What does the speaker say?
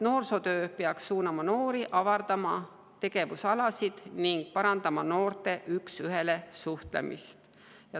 Noorsootöö peaks suunama noori avardama tegevusalasid ning parandama noorte üks ühele suhtlemist.